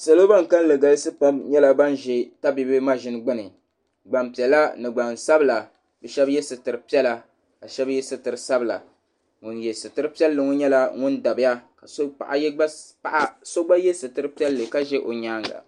Salo ban kalinli galisi pam nyɛla ban ʒi tabibi maʒini gbuni gbampiɛla ni gbansabila bɛ shɛba ye sitiri piɛla ka shɛba ye sitiri sabila ŋun ye sitiri piɛlli ŋɔ nyɛla ŋun dabiya ka paɣa so gba ye sitiri piɛlli ka ʒe o nyaaŋa.